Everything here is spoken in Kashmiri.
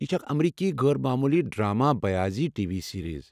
یہ چھےٚ اکھ امریکی غٲر موموٗلی ڈرامہ بیٲضی ٹی وی سیرز ۔